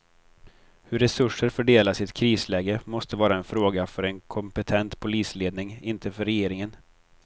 Hur resurser fördelas i ett krisläge måste vara en fråga för en kompetent polisledning, inte för regeringen.